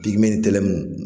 Pigime ni tɛlɛmu